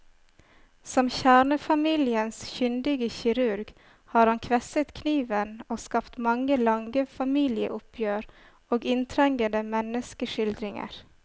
Som kjernefamiliens kyndige kirurg har han kvesset kniven og skapt mange, lange familieoppgjør og inntrengende menneskeskildringer.